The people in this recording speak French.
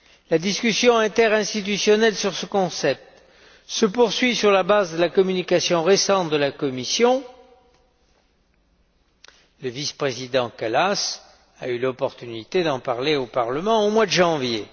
La discussion interinstitutionnelle sur ce concept se poursuit sur la base de la communication récente de la Commission, le vice président Kallas a eu l'opportunité d'en parler au Parlement au mois de janvier.